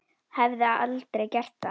Hafði aldrei gert það.